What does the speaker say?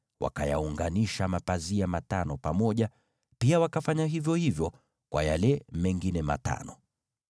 Wakayaunganisha mapazia matano pamoja, pia wakafanya vivyo hivyo kwa hayo mengine matano.